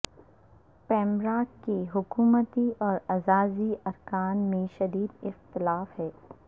پیمرا کے حکومتی اور اعزازی ارکان میں شدید اختلاف ہے